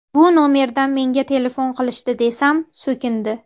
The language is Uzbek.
Bu nomerdan menga telefon qilishdi desam, so‘kindi.